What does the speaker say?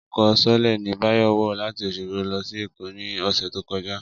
Ọkọ̀ sọọ́lẹ̀ ni Báyọ̀ wọ̀ láti Oṣogbo lọ sí Èkó ní ọ̀sẹ̀ tó kọjá